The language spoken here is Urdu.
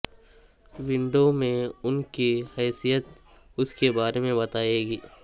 ونڈو میں ان کی حیثیت اس کے بارے میں بتائے گی